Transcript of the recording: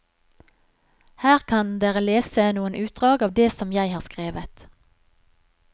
Her kan dere lese noen utdrag av det som jeg har skrevet.